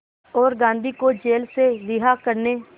और गांधी को जेल से रिहा करने